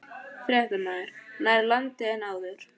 Fréttamaður: Nær landi en áður?